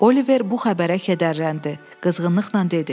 Oliver bu xəbərə kədərləndi, qızğınlıqla dedi.